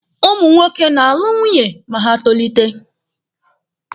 Ụmụ nwoke na-alụ nwunye ma ha tolite.